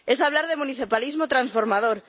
es hablar de municipalismo transformador